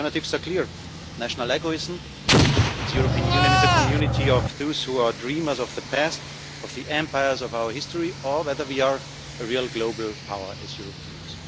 The alternatives are clear national egoism that the European Union is a community of those who are dreamers of the past, of the empires of our history or whether we are a real global power as Europeans.